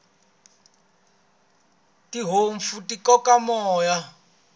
tinhompfu ti koka moya